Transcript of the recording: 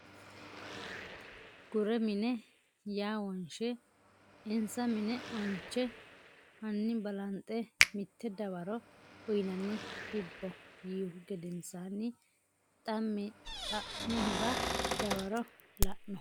gure mine ya wonshe insa mine onche Hanni balanxe mitte dawaro uynanni hibbo yiihu gedensaanni xa mihura dawaro la no !